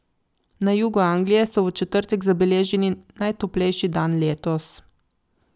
Na jugu Anglije so v četrtek zabeležili najtoplejši dan letos.